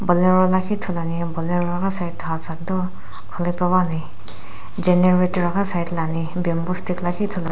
bolero lakhi ithuluani bolero ghi side kudau khuli pe puani Generator ghi side la ani bamboo stick lakhi ithuluan.